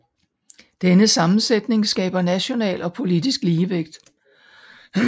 Denne sammensætning skaber national og politisk ligevægt